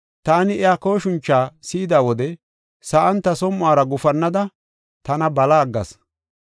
Taani iya kooshincha si7ida wode sa7an ta som7uwara gufannada, tana bala aggas.